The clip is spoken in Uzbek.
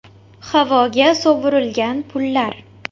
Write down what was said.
Havoga sovurilgan pullar.